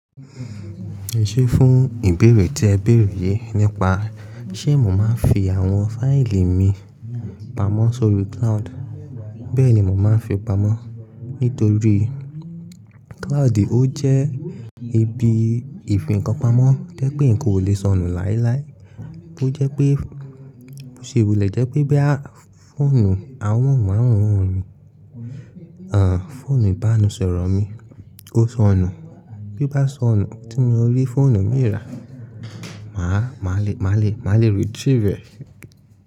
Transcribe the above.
Ṣé fún ìbéèrè tí ẹ béèrè yìí nípa ṣé mo máa ń fi àwọn fáìlì mi pamọ́ sórí cloud, bẹ́ẹ̀ni mo máa ń fi pamọ́. Nítorí cloud ó jẹ́ ibi ìfikanpamọ́ tẹ́ pé nkan oo le sọnù láéláé. Ó jẹ́ pé, ṣe ìwùlẹ̀ jẹ́ pé bí à f-fóònù àwọn mìíràn ràn mí, àn fóònù ìbánisọ̀rọ̀ mi ó sọnù. Bí oo bá sọnù tí mo rí fóònù mi rà, màá, màá le, màá le, màá le retrieve rẹ̀